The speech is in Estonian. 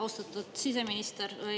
Austatud siseminister!